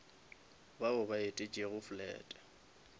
bao ba etetšego flat